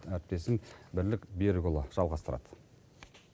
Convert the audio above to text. әріптесім бірлік берікұлы жалғастырады